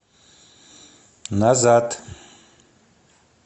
назад